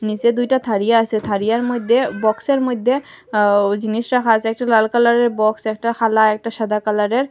নীচে দুইটা থারিয়া আসে থারিয়ার মইদ্যে বক্স -এর মইদ্যে আ ও জিনিস রাখা আসে একটা লাল কালার -এর বক্স একটা খালা একটা সাদা কালার -এর।